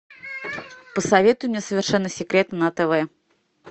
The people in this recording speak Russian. посоветуй мне совершенно секретно на тв